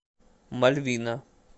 мальвина